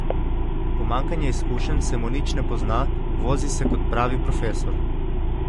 Pomanjkanje izkušenj se mu nič ne pozna, vozi se kot pravi profesor.